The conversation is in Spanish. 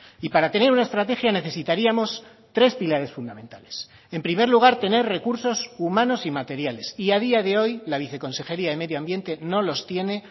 y para tener una estrategia necesitaríamos tres pilares fundamentales en primer lugar tener recursos humanos y materiales y a día de hoy la viceconsejería de medio ambiente no los tiene